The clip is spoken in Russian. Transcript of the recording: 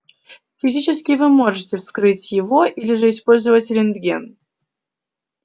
физически вы можете вскрыть его или же использовать рентген